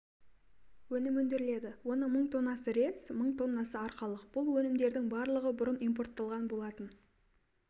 өнім өндіріледі оның мың тоннасы рельс мың тоннасы арқалық бұл өнімдердің барлығы бұрын импортталған болатын